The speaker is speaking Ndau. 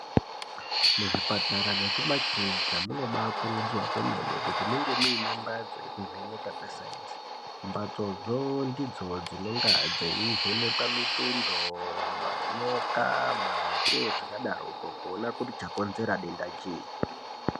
Muzvipatara nekumakirinika munobayi kurudzirwa kwemene kuti munge muine mbatso yekuvheneka kwesayinzi mbatso dzoo ndidzona dzinenge dzeyivhenekwa mitundo, manyoka ,mate zvakadaro koo kuona kuti chakonzera denda chii.